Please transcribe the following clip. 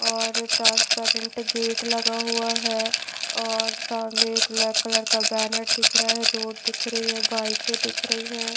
और transparent gate लगा हुआ है और सामने एक ब्लैक कलर का बॅनर दिख रहा है रोड दिख रही है बाइके दिख रही है।